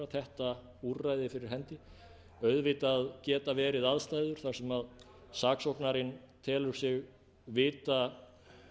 þetta úrræði fyrir hendi auðvitað geta verið aðstæður þar sem saksóknarinn telur sig vita